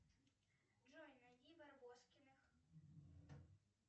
джой найди барбоскиных